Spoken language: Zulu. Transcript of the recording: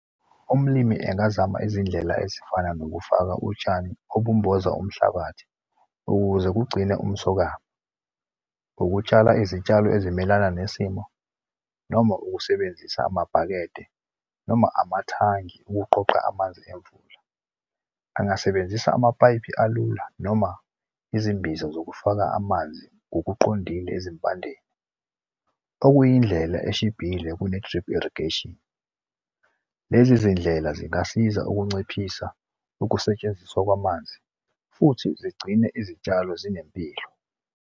Umlimi engazama izindlela ezifana nokufaka utshani obumboza umhlabathi, ukuze kugcine umsokama. Ukutshala izitshalo ezimelana nesimo noma ukusebenzisa amabhakede noma amathangi ukuqoqa amanzi emvula. Angasebenzisa amapayipi alula noma izimbiza zokufaka amanzi ngokuqondile ezimpandeni. Okuyindlela eshibhile kune-drip irrigation. Lezi zindlela zingasiza ukunciphisa ukusetshenziswa kwamanzi futhi zigcine izitshalo zinempilo.